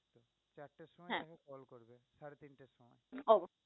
হ্যাঁ